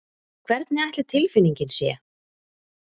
Hvernig ætli tilfinningin sé?